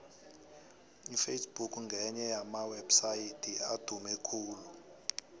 iface book ngenye yamawepsaydi adume khulu